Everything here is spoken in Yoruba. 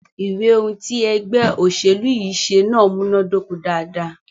Ìwé ohùn tí ègbé òṣèlú yí ṣe náà múnàdoko dáadáa.